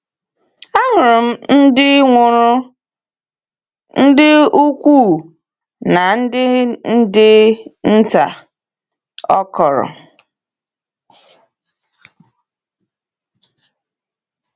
“Ahụrụ m ndị nwụrụ, ndị ukwu na ndị ndị nta,” ọ kọọrọ.